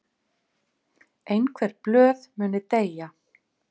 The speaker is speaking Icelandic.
Einhver blöð muni deyja